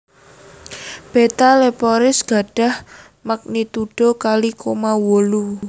Beta Leporis gadhah magnitudo kalih koma wolu